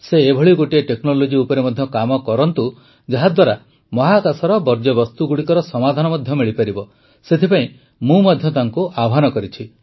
ସେ ଏଭଳି ଗୋଟିଏ ଟେକ୍ନୋଲୋଜି ଉପରେ ମଧ୍ୟ କାମ କରନ୍ତୁ ଯାହାଦ୍ୱାରା ମହାକାଶର ବର୍ଜ୍ୟବସ୍ତୁଗୁଡ଼ିକର ସମାଧାନ ମଧ୍ୟ ମିଳିପାରିବ ସେଥିପାଇଁ ମଧ୍ୟ ମୁଁ ତାଙ୍କୁ ଆହ୍ୱାନ କରିଛି